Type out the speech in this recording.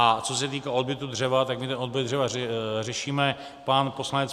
A co se týká odbytu dřeva, tak my ten odbyt dřeva řešíme, pan poslanec